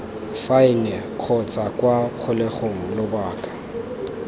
faene kgotsa kwa kgolegelong lobaka